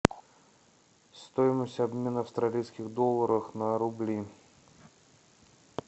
стоимость обмена австралийских долларов на рубли